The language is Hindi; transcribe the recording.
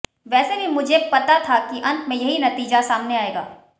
वैसे भी मुझे पता था कि अंत में यही नतीजा सामने आएगा